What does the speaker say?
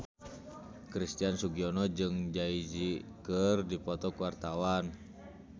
Christian Sugiono jeung Jay Z keur dipoto ku wartawan